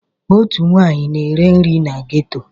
Otu nwaanyị na-ere nri na geto.